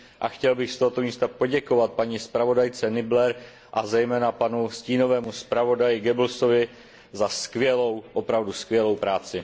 a chtěl bych z tohoto místa poděkovat zpravodajce Nieblerové a zejména stínovému zpravodaji Goebbelsovi za skvělou, opravdu skvělou práci.